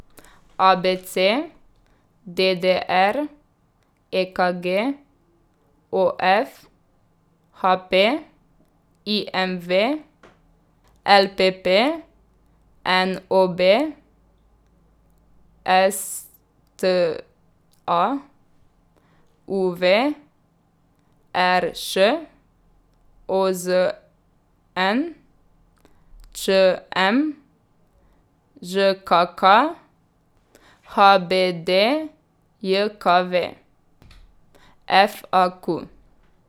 A B C; D D R; E K G; O F; H P; I M V; L P P; N O B; S T A; U V; R Š; O Z N; Č M; Ž K K; H B D J K V; F A Q.